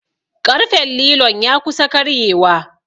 ƙarfen lilon ya kusa karyewa